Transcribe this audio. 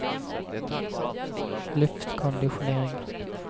luftkonditionering